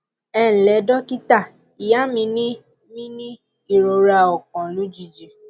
ẹ ǹ lẹ dókítà ìyá mi ní mi ní ìrora ọkàn lójijì